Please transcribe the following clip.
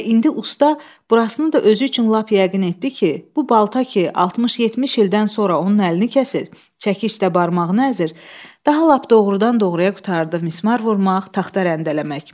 Və indi usta burasını da özü üçün lap yəqin etdi ki, bu balta ki 60-70 ildən sonra onun əlini kəsir, çəkic də barmağını əzir, daha lap doğrudan-doğruya qurtardı mismar vurmaq, taxta rəndələmək.